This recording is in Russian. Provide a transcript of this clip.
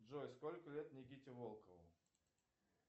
джой сколько лет никите волкову